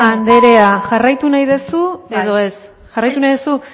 anderea jarraitu nahi duzu edo ez